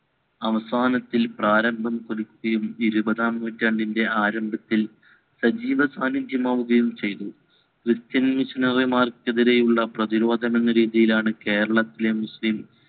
അവസാനത്തിൽ പ്രാരംഭം പിടിക്കുകയും ഇരുവതാം നൂറ്റാണ്ടിൻറെ ആരംഭത്തിൽ സജീവ സാനിത്യമാകുകയും ചെയ്തു മാർക്കെതിരെയുള്ള പ്രതിരോധം എന്ന നിലയിലാണ് കേരളം മുസ്ലിം